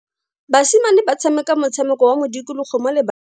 Basimane ba tshameka motshameko wa modikologo mo lebaleng.